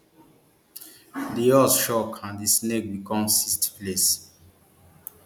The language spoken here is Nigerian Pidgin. di horse shock and di snake become sixth place